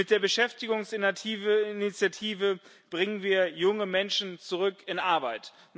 Mit der Beschäftigungsinitiative bringen wir junge Menschen zurück in Arbeit.